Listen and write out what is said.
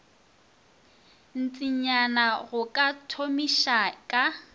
ntšinyana go ka thomiša ka